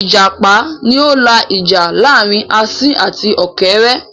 Ìjàpá ni ó la ìjà láàrin asín àti ọ̀kẹ́rẹ́